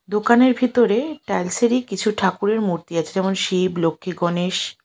দোকানের ভিতরে টাইলসেরই কিছু ঠাকুরের মূর্তি আছে যেমন শিব লক্ষ্মী গণেশ।